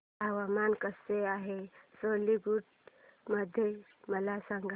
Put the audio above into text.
हवामान कसे आहे सिलीगुडी मध्ये मला सांगा